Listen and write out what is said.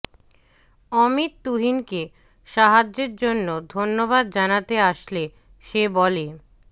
অমিত তুহিনকে সাহায্যের জন্য ধন্যবাদ জানাতে আসলে সে বলে